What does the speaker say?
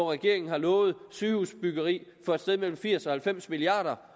regeringen lovet sygehusbyggeri for et sted mellem firs og halvfems milliard